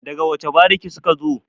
daga wace bariki suka zo?